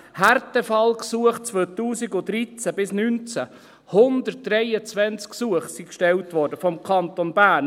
Härtefallgesuche 2013 bis 2019: 123 Gesuche wurden gestellt vom Kanton Bern.